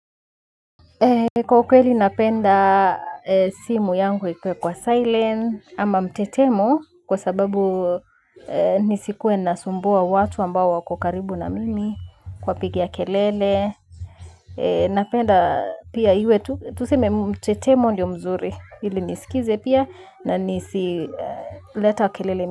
Kwa ukweli napenda simu yangu ikuwe kwa silent ama mtetemo kwa sababu nisikuwe nasumbua watu ambao wako karibu na mimi kuwa pigia kelele. Napenda pia iwe tuseme mtetemo ndio mzuri ili nisikize pia na nisileta kelele.